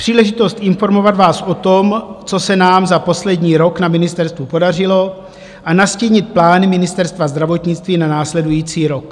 Příležitost informovat vás o tom, co se nám za poslední rok na ministerstvu podařilo, a nastínit plány Ministerstva zdravotnictví na následující rok.